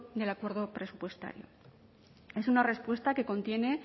del acuerdo presupuestario es una respuesta que contiene